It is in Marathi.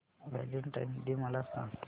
व्हॅलेंटाईन्स डे मला सांग